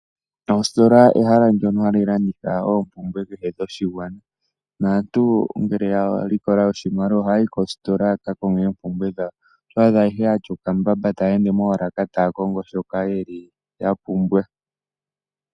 Oositola ehala ndyono hali landitha oompumbwe kehe dhoshigwana . Aantu ngele yalikola oshimaliwa ohaya yi koositola yakakonge oompumbwe dhawo. Otwaadha aehe yatya okambamba yeli moolaka taya kongo shoka yeli yapumbwa.